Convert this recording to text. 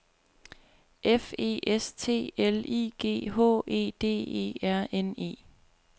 F E S T L I G H E D E R N E